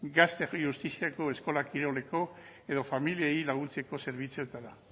gazte justiziako eskola kiroleko edo familiei laguntzeko zerbitzuetara